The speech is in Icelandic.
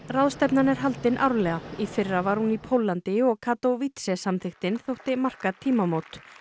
ráðstefnan er haldin árlega í fyrra var hún í Póllandi og Katowic samþykktin þótti marka tímamót